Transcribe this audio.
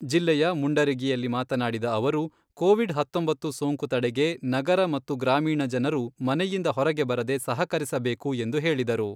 ಜಿಲ್ಲೆಯ ಮುಂಡರಗಿಯಲ್ಲಿ ಮಾತನಾಡಿದ ಅವರು, ಕೋವಿಡ್ ಹತ್ತೊಂಬತ್ತು ಸೋಂಕು ತಡೆಗೆ ನಗರ ಮತ್ತು ಗ್ರಾಮೀಣ ಜನರು ಮನೆಯಿಂದ ಹೊರಗೆ ಬರದೆ ಸಹಕರಿಸಬೇಕು ಎಂದು ಹೇಳಿದರು.